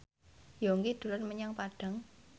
Yongki dolan menyang Padang